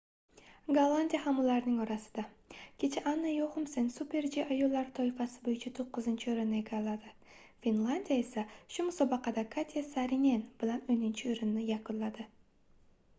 gollandiya ham ularning orasida kecha anna yoxumsen super-g ayollar toifasi boʻyicha toʻqqizinchi oʻrinni egalladi finlandiya esa shu musobaqada katya saarinen bilan oʻninchi oʻrinda yakunladi